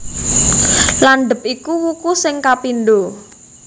Landhep iku wuku sing kapindho